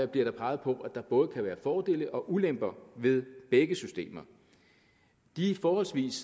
bliver der peget på at der både kan være fordele og ulemper ved begge systemer de forholdsvis